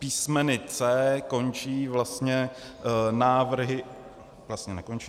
Písmeny C končí vlastně návrhy - vlastně nekončí.